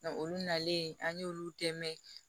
olu nalen an y'olu tɛ mɛn